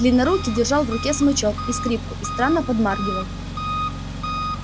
длиннорукий держал в руке смычок и скрипку и странно подмаргивал